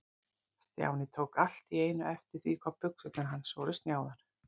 Stjáni tók allt í einu eftir því hvað buxurnar hans voru snjáðar.